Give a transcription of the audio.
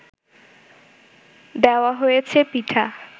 দেওয়া হয়েছে পিঠা